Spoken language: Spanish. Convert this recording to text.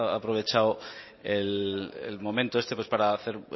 aprovechado el momento este pues para hacer